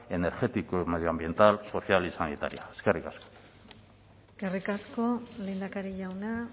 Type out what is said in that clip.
energética y medioambiental social y sanitaria eskerrik asko eskerrik asko lehendakari jauna